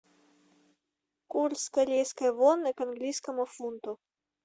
курс корейской воны к английскому фунту